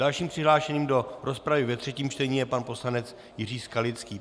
Dalším přihlášeným do rozpravy ve třetím čtení je pan poslanec Jiří Skalický.